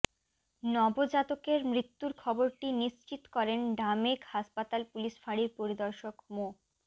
নবজাতকের মৃত্যুর খবরটি নিশ্চিত করেন ঢামেক হাসপাতাল পুলিশ ফাঁড়ির পরিদর্শক মো